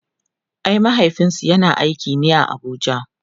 ai mahaifinsu yana aiki ne a Abuja